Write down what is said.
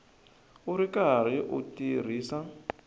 u ri karhi u tirhisa